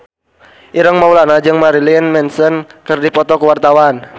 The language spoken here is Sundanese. Ireng Maulana jeung Marilyn Manson keur dipoto ku wartawan